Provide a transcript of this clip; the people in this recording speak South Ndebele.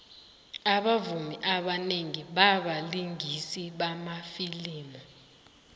abavumi abanengi babalingisi wamafilimu